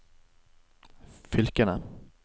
fylkene